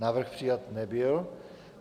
Návrh přijat nebyl.